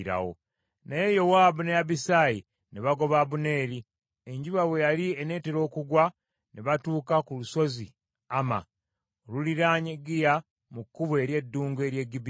Naye Yowaabu ne Abisaayi ne bagoba Abuneeri. Enjuba bwe yali eneetera okugwa, ne batuuka ku lusozi Amma, oluliraanye Giya mu kkubo ery’eddungu ery’e Gibyoni.